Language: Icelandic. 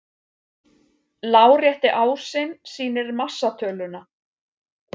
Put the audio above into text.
Lárétti ásinn sýnir massatöluna.